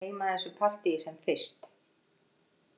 Ég vil gleyma þessu partíi sem fyrst.